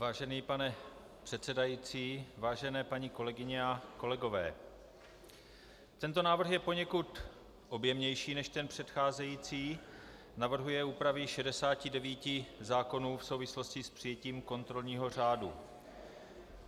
Vážený pane předsedající, vážené paní kolegyně a kolegové, tento návrh je poněkud objemnější než ten předcházející, navrhuje úpravy 69 zákonů v souvislosti s přijetím kontrolního řádu.